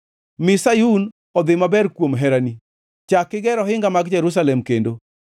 Mi Sayun odhi maber kuom herani; chak iger ohinga mag Jerusalem kendo.